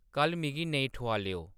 कल्ल मिगी नेईं ठुआलेओ